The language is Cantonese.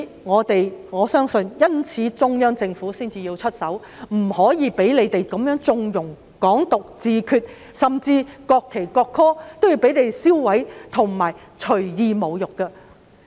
我相信中央政府是因為這樣才出手，不能夠再讓他們縱容"港獨"、"自決"，甚至銷毀和隨意侮辱國旗及國歌。